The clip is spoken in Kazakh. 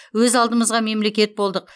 өз алдымызға мемлекет болдық